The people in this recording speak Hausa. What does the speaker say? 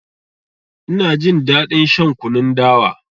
Ina jin daɗin shan kunun dawa.